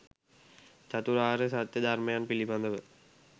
චතුරාර්ය සත්‍ය ධර්මයන් පිළිබඳව